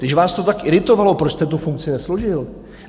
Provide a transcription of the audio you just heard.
Když vás to tak iritovalo, proč jste tu funkci nesložil?